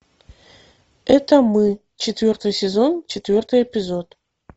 это мы четвертый сезон четвертый эпизод